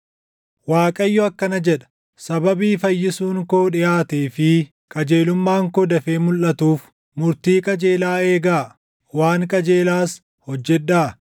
Waaqayyo akkana jedha: Sababii fayyisuun koo dhiʼaatee fi qajeelummaan koo dafee mulʼatuuf, “Murtii qajeelaa eegaa; waan qajeelaas hojjedhaa.